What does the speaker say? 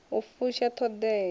u fusha t hod ea